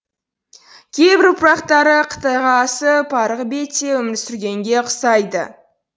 кейбір ұрпақтары қытайға асып арғы бетте өмір сүргенге ұқсайды